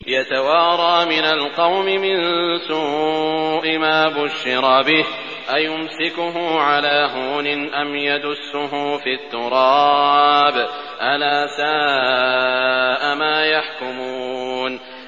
يَتَوَارَىٰ مِنَ الْقَوْمِ مِن سُوءِ مَا بُشِّرَ بِهِ ۚ أَيُمْسِكُهُ عَلَىٰ هُونٍ أَمْ يَدُسُّهُ فِي التُّرَابِ ۗ أَلَا سَاءَ مَا يَحْكُمُونَ